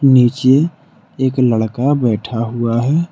नीचे एक लड़का बैठा हुआ है।